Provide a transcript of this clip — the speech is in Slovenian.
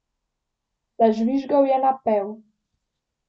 Zažvižgal je napev.